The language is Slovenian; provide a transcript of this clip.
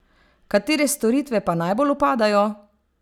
Katere storitve pa najbolj upadajo?